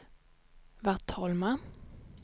Vattholma